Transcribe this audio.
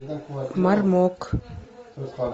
мармок